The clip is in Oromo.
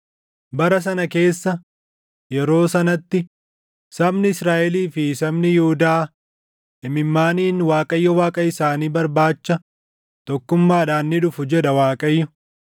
“Bara sana keessa, yeroo sanatti, sabni Israaʼelii fi sabni Yihuudaa imimmaaniin Waaqayyo Waaqa isaanii barbaacha tokkummaadhaan ni dhufu” jedha Waaqayyo;